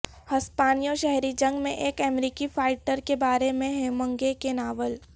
ہسپانوی شہری جنگ میں ایک امریکی فائٹر کے بارے میں ہیمنگے کے ناول